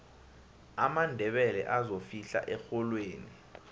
amandebele azofihla erholweni